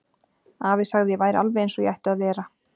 Afi sagði að ég væri alveg eins og ég ætti að vera.